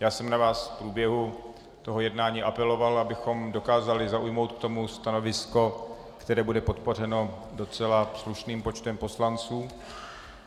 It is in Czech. Já jsem na vás v průběhu toho jednání apeloval, abychom dokázali zaujmout k tomu stanovisko, které bude podpořeno docela slušným počtem poslanců.